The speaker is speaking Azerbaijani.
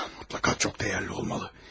O adamın mütləqa çox dəyərli olmalı.